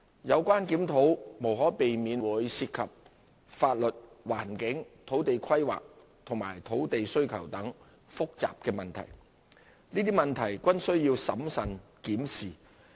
有關檢討無可避免會涉及法律、環境、土地規劃及土地需求等複雜問題，這些問題均需要審慎檢視。